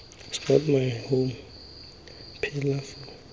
is not my home pelafalo